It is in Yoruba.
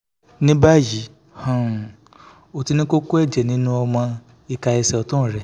ní báyìí um ó ti ní kókó ẹ̀jẹ̀ nínú ọmọ ìka ẹsẹ̀ ọ̀tún rẹ̀